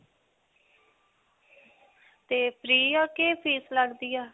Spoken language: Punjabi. ਤੇ free ਹੈ ਕਿ fees ਲਗਦੀ ਹੈ?